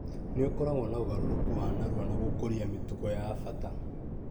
nĩ ũkoragwo na ũgarũrũku wa narua na gũkũria mĩtugo ya bata.